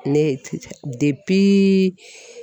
Ne de